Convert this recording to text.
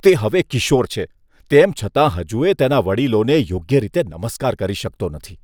તે હવે કિશોર છે, તેમ છતાં હજુય તેના વડીલોને યોગ્ય રીતે નમસ્કાર કરી શકતો નથી.